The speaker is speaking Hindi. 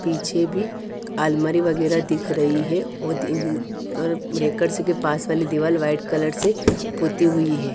पीछे भी आलमारी वगैरा दिख रही है वो दिन अ और ब्रेकर्स के पास वाली दीवाल व्हाइट कलर से पोती हुई है।